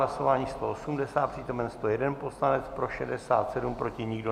Hlasování 180, přítomen 101 poslanec, pro 67, proti nikdo.